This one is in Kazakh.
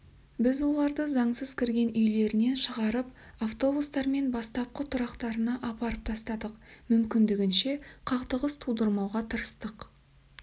біз оларды заңсыз кірген үйлерінен шығарып автобустармен бастапқы тұрақтарына апарып тастадық мүмкіндігінше қақтығыс тудырмауға тырыстық